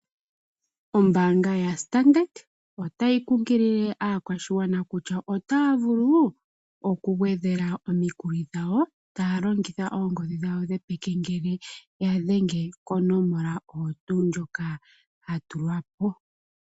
Ombaanga yoStandard Bank otayi kunkilile aakwashigwana kutya otaya vulu okugwedhela omikuli dhawo taya longitha oongodhi dhawo dhopeke ngele yadhenge konomola ndjoka yatulwa po.